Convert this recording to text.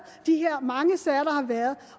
de her mange sager der har været